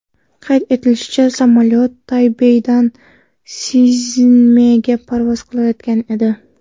Qayd etilishicha, samolyot Taybeydan Szinmenga parvoz qilayotgan edi.